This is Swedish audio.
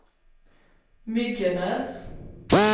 Myggenäs